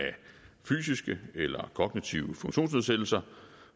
fysiske eller kognitive funktionsnedsættelser